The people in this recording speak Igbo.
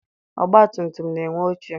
Ọgbatumtum na-enwe oche.